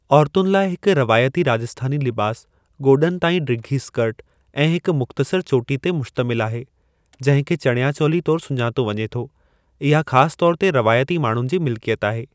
औरतुनि लाइ हिक रवायती राजस्थानी लिबासु घोॾनि ताईं डिघी इस्कर्ट ऐं हिक मुख़्तसर चोटी ते मुश्तमिल आहे, जंहिं खे चानया चोली तौर सुञातो वञे थो, इहा ख़ासि तौर ते रवायती माण्हुनि जी मिलिकियत आहे।